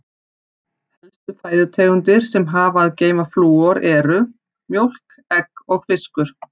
Helstu fæðutegundir sem hafa að geyma flúor eru: mjólk, egg og fiskur.